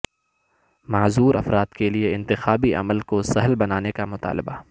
معذور افراد کے لیے انتخابی عمل کو سہل بنانے کا مطالبہ